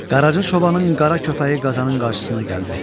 Qaraca çobanın qara köpəyi qazanın qarşısına gəldi.